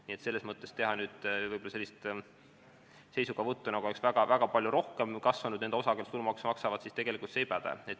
Nii et selles mõttes selline seisukoht, nagu oleks väga-väga palju kasvanud nende osakaal, kes tulumaksu maksavad, tegelikult ei päde.